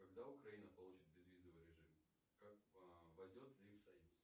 когда украина получит безвизовый режим войдет ли в союз